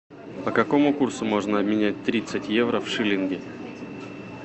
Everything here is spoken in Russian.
по какому курсу можно обменять тридцать евро в шиллинги